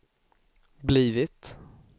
blivit